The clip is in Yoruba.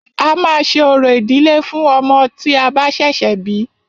A máà ṣe orò ìdílé fún ọmọ tí a bá ṣẹ̀ṣẹ̀ bí.